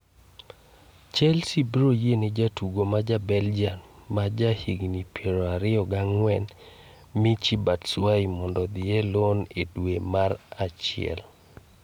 Chelsea biroyiene jatugo ma ja Belgium ma ja higni piero ariyo gang'wen, Michy Batshuayi, mondo odhi e loan e dwe mar achiel.